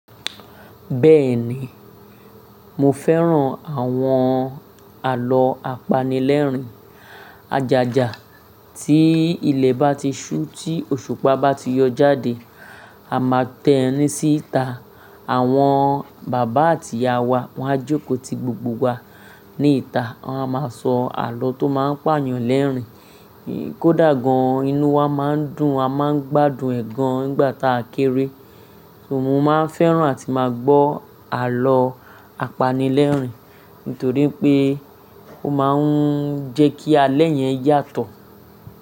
Bẹ́ẹ̀ni, mo fẹ́ràn àwọn àlọ́ apanilẹ́rìn-ajàjà. Tí ilẹ̀ bá ti ṣú, tí òṣùpá bá ti yọ jáde, a máa tẹ́ni síta. Àwọn bàbá àti ìyá wa, wọ́n á jókòó ti gbogbo wa níta, wọ́n a máa sọ àlọ́ tó máa ń pààyàn lẹ́rìn-ín. Kódà gan-an, inú wa má ń dùn, a má ń gbádùn ẹ̀ gan-an nígbà ta a kéré. Mo má ń fẹ́ràn àti máa gbọ́ àlọ́ apanilẹ́rìn, nítorí pé ó má ń jẹ́ kí alẹ́ yẹn yàtọ̀